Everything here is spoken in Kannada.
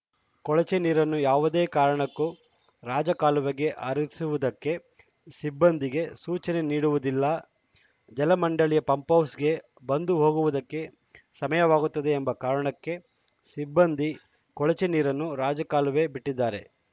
ಕೊಳಚೆನೀರನ್ನು ಯಾವುದೇ ಕಾರಣಕ್ಕೂ ರಾಜಕಾಲುವೆಗೆ ಹರಿಸುವುದಕ್ಕೆ ಸಿಬ್ಬಂದಿಗೆ ಸೂಚನೆ ನೀಡುವುದಿಲ್ಲ ಜಲಮಂಡಳಿಯ ಪಂಪ್‌ ಹೌಸ್‌ಗೆ ಬಂದು ಹೋಗುವುದಕ್ಕೆ ಸಮಯವಾಗುತ್ತದೆ ಎಂಬ ಕಾರಣಕ್ಕೆ ಸಿಬ್ಬಂದಿ ಕೊಳಚೆನೀರನ್ನು ರಾಜಕಾಲುವೆ ಬಿಟ್ಟಿದ್ದಾರೆ